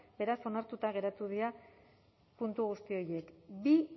beraz onartuta geratu dira puntu guzti horiek bi